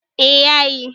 eh ya yi